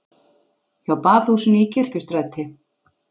Hjá Baðhúsinu í Kirkjustræti.